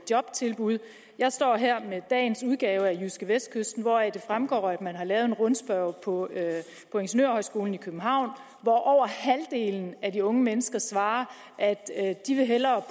jobtilbud jeg står her med dagens udgave af jydskevestkysten hvoraf det fremgår at man har lavet en rundspørge på ingeniørhøjskolen i københavn hvor over halvdelen af de unge mennesker svarer at de hellere